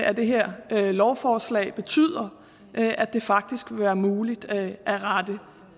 af det her lovforslag betyder at det faktisk vil være muligt at at rette